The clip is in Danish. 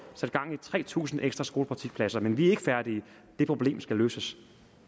sat gang i tre tusind ekstra skolepraktikpladser men vi er ikke færdige det problem skal løses